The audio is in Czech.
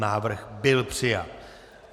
Návrh byl přijat.